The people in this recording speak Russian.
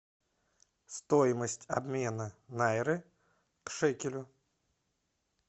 стоимость обмена найры к шекелю